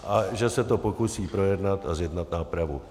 A že se to pokusí projednat a zjednat nápravu.